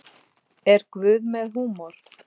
Er Guð með húmor?